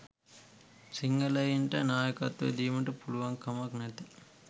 සිංහලයින්ට නායකත්වයක් දීමට පුලුවන්කමක් නැත